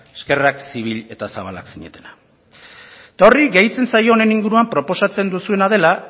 eskerrak zibil eta zabalak zinetela eta horri gehitzen zaio honen inguruan proposatzen duzuena dela